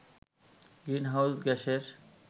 green house গ্যাসের